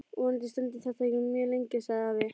Vonandi stendur þetta ekki mjög lengi sagði afi.